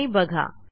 आणि बघा